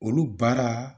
Olu baara